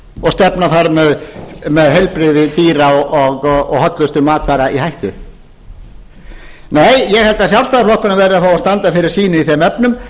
og stefna þar með heilbrigði dýra og hollustu matvara í hættu nei ég held að sjálfstæðisflokkurinn verði fá að standa fyrir sínu í þeim efnum